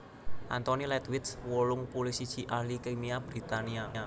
Anthony Ledwith wolung puluh siji ahli kimia Britania